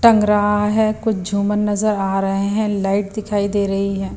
टंग रहा है कुछ झूमन नजर आ रहे हैं लाइट दिखाई दे रही है।